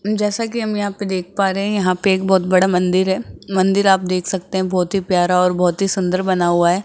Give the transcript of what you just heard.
जैसा की हम यहां पे देख पा रहे है यहां पे एक बहोत बड़ा मंदिर है मंदिर आप देख सकते हैं बहोत ही प्यारा और बहोत ही सुंदर बना है।